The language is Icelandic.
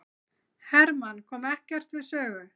Hermann kom ekkert við sögu